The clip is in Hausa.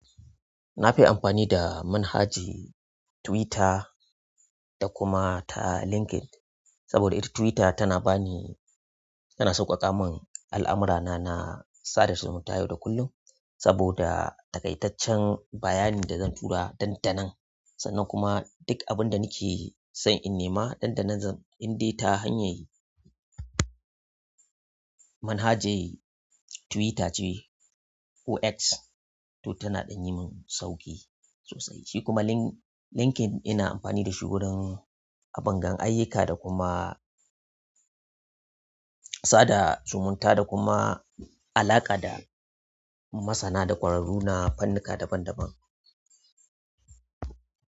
Nafi amfani da manhaji Twitter da kuma ta LinkedIn. Saboda ita Twitter tana ba ni, tana sauƙaƙa mun al'amurana na sada zumunta yau da kullum. Saboda takaitaccen bayanin da zan tura dandanan sannan kuma duk abin da nake son in nema dandanan zan in de ta hanyar manhaje Twitter ce, OX. To tana ɗan yi mun sauƙi sosai. Shi kuma Link-LinkedIn ina amfani da shi wurin abun gan ayyuka da kuma sada zumunta da kuma alaƙa da masana da ƙwararru na fannika daban-daban.